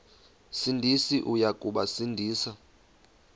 sindisi uya kubasindisa